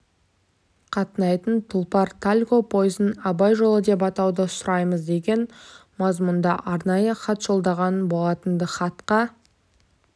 қатынайтын тұлпар-тальго пойызын абай жолы деп атауды сұраймыз деген мазмұнда арнайы хат жолданған болатын-ды хатқа